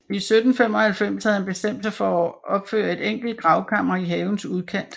I 1795 havde han bestemt sig for at opføre et enkelt gravkammer i havens udkant